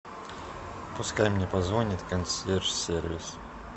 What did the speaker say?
пускай мне позвонит консьерж сервис